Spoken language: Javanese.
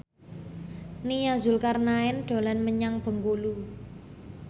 Nia Zulkarnaen dolan menyang Bengkulu